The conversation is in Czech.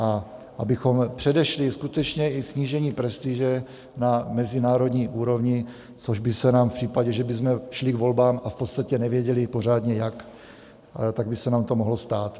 A abychom předešli skutečně i snížení prestiže na mezinárodní úrovni, což by se nám v případě, že bychom šli k volbám a v podstatě nevěděli pořádně jak, tak by se nám to mohlo stát.